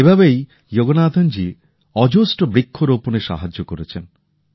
এভাবেই যোগনাথন জী অজস্র বৃক্ষরোপণে সাহায্য করেছেন